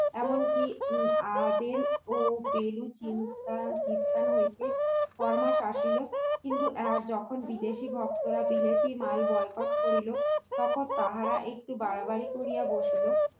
এমনকি আভেন এবং বেলুচিস্থান হইতে ফর মাস আসিল কিন্তু যখন বিদেশী বস্ত্ররা বিলেতি মাল বয়কট করিল তখন তাহারা একটু বাড়াবাড়ি করিয়া বসিল